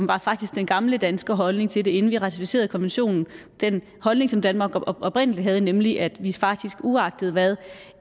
var faktisk den gamle danske holdning til det inden vi ratificerede konventionen den holdning som danmark oprindelig havde nemlig at vi faktisk uagtet hvad